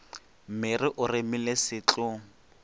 mere o remile se tlo